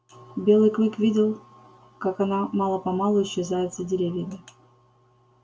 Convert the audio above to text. белый клык видел как она мало помалу исчезает за деревьями